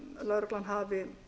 lögreglan hafi